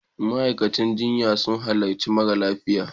Ma'aikatan jinya sun halarci marasa lafiya.